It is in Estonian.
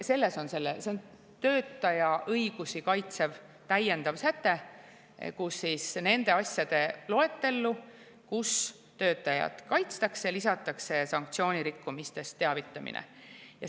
See on töötaja õigusi kaitsev täiendav säte, kus nende asjade loetellu, mille puhul töötajat kaitstakse, lisatakse sanktsioonirikkumistest teavitamine.